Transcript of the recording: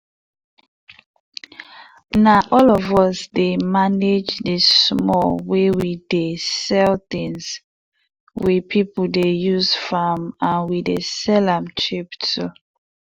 na all of us dey manage di small wey we dey sell things we people dey use farm and we dey sell am cheap too.